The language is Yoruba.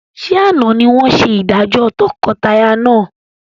Ṣé àna ni wọn ṣe ìdájọ́ tọkọtaya náà?